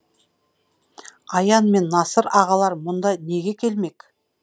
аян мен насыр ағалар мұнда неге келмек